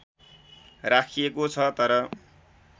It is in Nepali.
राखिएको छ तर